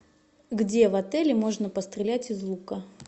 где в отеле можно пострелять из лука